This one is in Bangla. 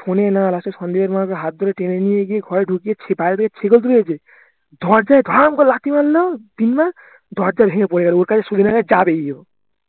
শোনেনা last এ সন্দীপের মা ওকে হাত ধরে টেনে নিয়ে গিয়ে ঘরে ঢুকিয়ে বাইর হয়ে শেকল তুলেছে দরজায় ধাম করে লাথি মারলো তিন বার দরজা ভেঙে পড়ে গেলো ওর কথা হচ্ছে ও কাছে যাবেই ও